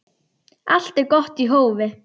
Allt er gott í hófi.